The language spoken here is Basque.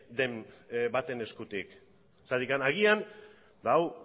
den baten eskutik zergatik agian ba hau